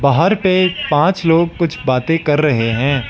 बाहर पे पांच लोग कुछ बातें कर रहे हैं।